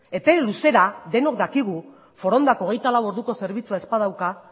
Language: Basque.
epe luzera denok dakigu forondak hogeita lau orduko zerbitzua ez badauka